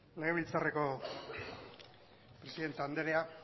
legebiltzarreko presidente andrea